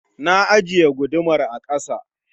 Na ajiye gudumar a ƙasa